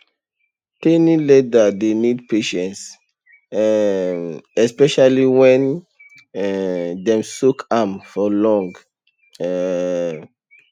tanning leather dey need patience um especially when um dem soak am for long um